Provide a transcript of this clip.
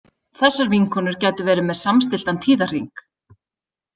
Þessar vinkonur gætu verið með samstilltan tíðahring.